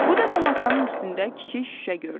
Bu dəfə masanın üstündə kiçik şüşə gördü.